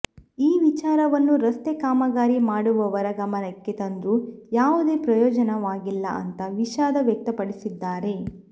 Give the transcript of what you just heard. ಈ ವಿಚಾರವನ್ನು ರಸ್ತೆ ಕಾಮಗಾರಿ ಮಾಡುವವರ ಗಮನಕ್ಕೆ ತಂದ್ರೂ ಯಾವುದೇ ಪ್ರಯೋಜನವಾಗಿಲ್ಲ ಅಂತ ವಿಷಾದ ವ್ಯಕ್ತಪಡಿಸಿದ್ದಾರೆ